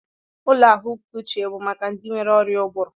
Ụlọ ahụike uche bụ maka ndị nwere ọrịa ụbụrụ